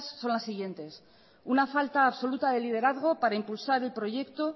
son las siguientes una falta absoluta de liderazgo para impulsar el proyecto